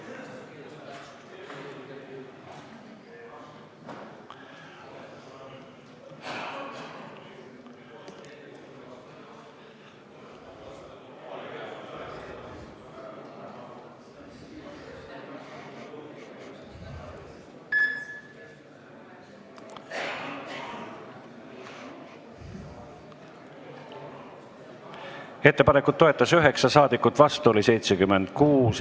Hääletustulemused Ettepanekut toetas 9 ja vastu oli 76 saadikut.